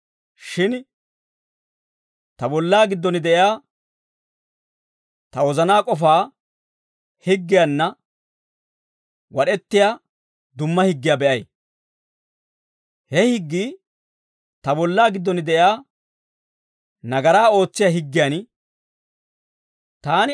shin ta bollaa giddon de'iyaa ta wozanaa k'ofaa higgiyaanna wad'ettiyaa dumma higgiyaa be'ay. He higgii ta bollaa giddon de'iyaa nagaraa oosissiyaa higgiyan taana k'ashissee.